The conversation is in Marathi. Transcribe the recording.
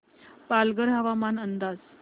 पालघर हवामान अंदाज